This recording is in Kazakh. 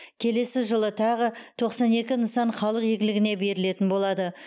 келесі жылы тағы тоқсан екі нысан халық игілігіне берілетін болады